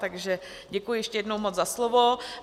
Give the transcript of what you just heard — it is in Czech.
Takže děkuji ještě jednou moc za slovo.